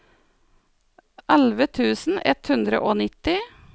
elleve tusen ett hundre og nitti